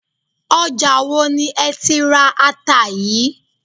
Ọjà wo ni ẹ ti ra ata yìí?